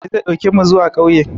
Audu direban ne zai ɗauke mu zuwa ƙauye